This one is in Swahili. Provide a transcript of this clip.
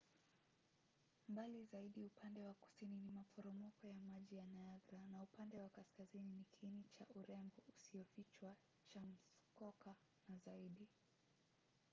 mbali zaidi upande wa kusini ni maporomoko ya maji ya niagara na upande wa kaskazini ni kiini cha urembo usiyofichwa cha muskoka na zaidi